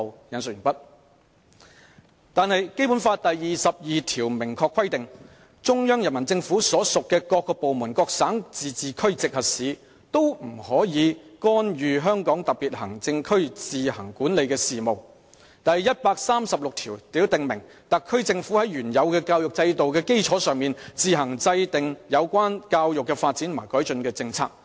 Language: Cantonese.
然而，《基本法》第二十二條規定，中央人民政府所屬各部門、各省、自治區、直轄市均不得干預香港特別行政區自行管理的事務；第一百三十六條訂明，特區政府在原有教育制度的基礎上，自行制定有關教育的發展和改進的政策。